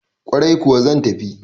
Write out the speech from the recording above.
Ƙwarai kuwa zan tafi